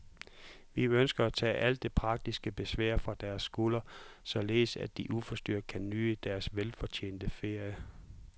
Vi ønsker at tage alt det praktiske besvær fra deres skuldre, således at de uforstyrret kan nyde deres velfortjente ferie.